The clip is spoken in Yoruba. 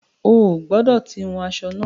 O ò gbọ̀dọ tí wun aṣọ náà.